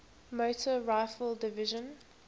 motor rifle division